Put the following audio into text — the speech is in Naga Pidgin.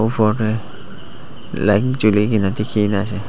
ufor tey jhuli kena dekhi na ase.